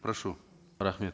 прошу рахмет